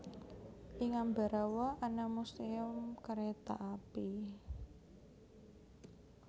Ing Ambarawa ana Museum Kereta Api